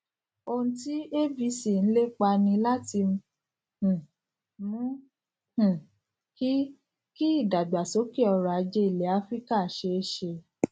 ohun tí abc ń lépa ni láti um mú um kí kí ìdàgbàsókè ọrọ ajé ilẹ áfíríkà ṣeé ṣe